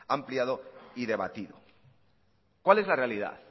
ampliado y debatido cuál es la realidad